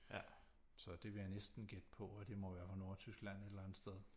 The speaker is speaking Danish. Så det vil jeg næsten gætte på at det må være fra Nordtyskland et eller andet sted